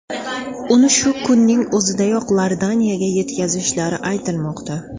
Uni shu kunning o‘zidayoq Iordaniyaga yetkazishlari aytilmoqda.